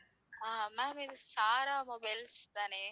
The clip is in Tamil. ஆஹ் ma'am இது சாரா மொபைல்ஸ் தானே